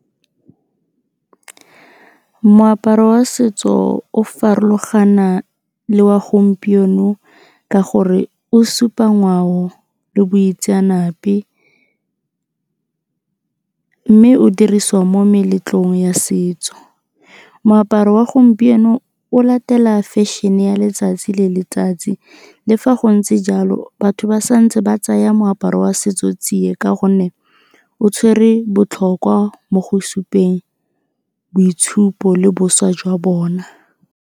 Moaparo wa setso o farologana le wa gompieno ka gore o supa ngwao le boitseanape, mme o dirisiwa mo meletlong ya setso. Moaparo wa gompieno o latela fashion-e e ya letsatsi le letsatsi, le fa go ntse batho ba sa ntse ba tsaya moaparo wa setso tsie ka gonne o tshwere botlhokwa mo go supeng boitshupo le boswa jwa bona.